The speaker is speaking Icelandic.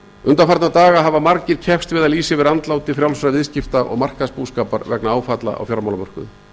undanfarna daga hafa margir keppst við að lýsa yfir andláti frjálsra viðskipta og markaðsbúskapar vegna áfalla á fjármálamörkuðum